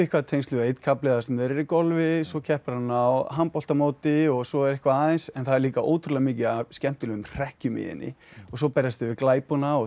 tengslum við einn kafli þar sem þeir eru golfi svo keppir hann á handboltamóti svo er eitthvað aðeins en það er líka ótrúlega mikið af skemmtilegum hrekkjum svo berjast þau við glæpona og